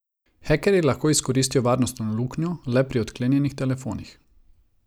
Hekerji lahko izkoristijo varnostno luknjo le pri odklenjenih telefonih.